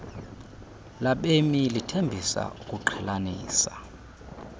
labemi lithembisa ukuqhelanisa